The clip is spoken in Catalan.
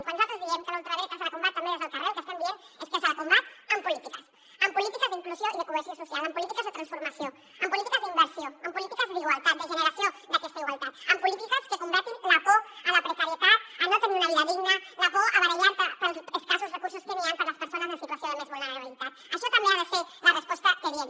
quan nosaltres diem que a la ultradreta se la combat també des del carrer el que estem dient és que se la combat amb polítiques amb polítiques d’inclusió i de cohesió social amb polítiques de transformació amb polítiques d’inversió amb polítiques d’igualtat de generació d’aquesta igualtat amb polítiques que combatin la por a la precarietat a no tenir una vida digna la por a barallar te pels escassos recursos que hi han per a les persones en situació de més vulnerabilitat això també ha de ser la resposta que diem